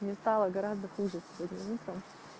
мне стала гораздо хуже сегодня утром